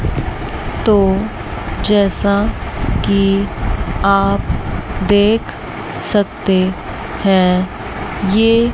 तो जैसा कि आप देख सकते हैं ये--